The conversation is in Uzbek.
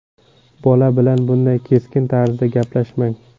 Bola bilan bunday keskin tarzda gaplashmang.